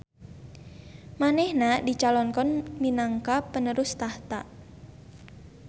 Manehna dicalonkan minangka penerus tahta